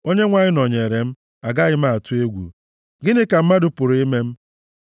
Onyenwe anyị nọnyeere m, agaghị m atụ egwu. Gịnị ka mmadụ pụrụ ime m?